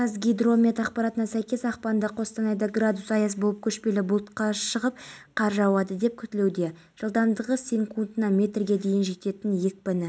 ұйымның ресми резолюциясы мен мандаты берілуі шарт сонда ғана қазақстан да басқа да мемлекетер бітімгерлік